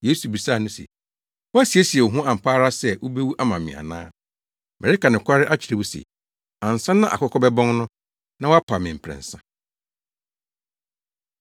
Yesu bisaa no se, “Woasiesie wo ho ampa ara sɛ wubewu ama me ana? Mereka nokware akyerɛ wo se, ansa na akokɔ bɛbɔn no, na woapa me mprɛnsa.”